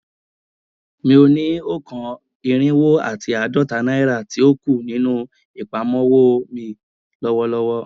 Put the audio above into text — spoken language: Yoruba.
Mo ni o kan irinwo ati aadọta naira ti o ku ninu apamọwọ mi lọwọlọwọ